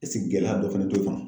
gɛlɛya dɔ fɛnɛ t'o kan?